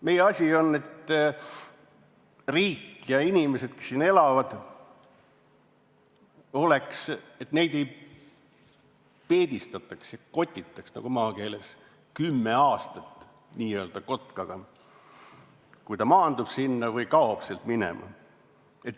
Meie asi oleks, et riik ja inimesed, kes siin elavad, et neid ei peedistataks ehk kotitaks, nagu maakeeles öeldakse, kümme aastat n-ö kotkaga, kui ta maandub sinna või kaob sealt minema.